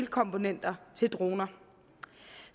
komponenter til droner